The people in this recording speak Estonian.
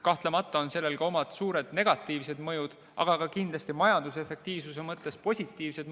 Kahtlemata on sellel omad suured negatiivsed mõjud, aga ka kindlasti majanduse efektiivsuse mõttes positiivsed mõjud.